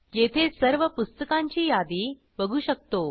येथे सर्व पुस्तकांची यादी बघू शकतो